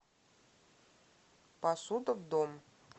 посуда в дом